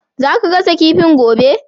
Za ka gasa kifin gobe?